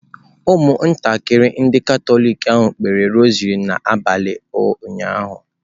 Ụmụntakịrị ndị Katọlik ahụ kpere rosary n'abalị ụnyaahụ.